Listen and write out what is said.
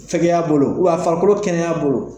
Fɛkɛya bolo walima farikolo kɛnɛya bolo